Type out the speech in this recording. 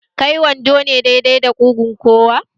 Kai wando ne dai dai da kugun kowa?